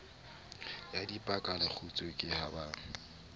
ya dipalekgutshwe ke ha ba